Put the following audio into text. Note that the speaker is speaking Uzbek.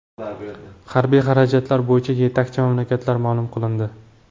Harbiy xarajatlar bo‘yicha yetakchi mamlakatlar ma’lum qilindi.